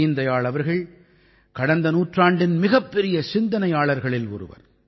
தீன் தயாள் அவர்கள் கடந்த நூற்றாண்டின் மிகப்பெரிய சிந்தனையாளர்களில் ஒருவர்